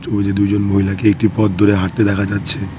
ছবিতে দুজন মহিলাকে একটি পথ ধরে হাঁটতে দেখা যাচ্ছে।